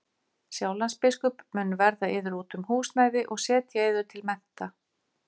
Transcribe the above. Sjálandsbiskup mun verða yður út um húsnæði og setja yður til mennta.